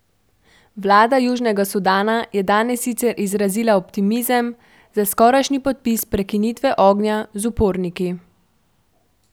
Vlada Južnega Sudana je danes sicer izrazila optimizem za skorajšnji podpis prekinitve ognja z uporniki.